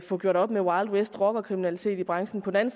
få gjort op med wild west rockerkriminalitet i branchen på den